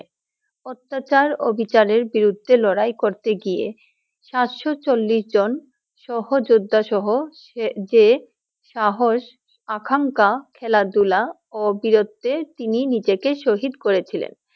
অত্যাচার ও বিচারের বিরুদ্ধে লড়াই করতে গিয়ে সাতশ চলিস জন সহযোদ্ধা সহ যে সাহস, আকাঙ্খা, খেলা দুল ও বিরোধ থে তিনি নিজেকে সহিদ করে ছিলেন ।